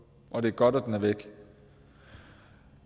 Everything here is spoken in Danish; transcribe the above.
og det er godt at den er væk